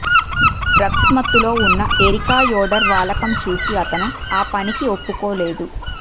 drugs మత్తులో ఉన్న Erica Yoder వాలకం చూసి అతను ఆ పనికి ఒప్పుకోలేదు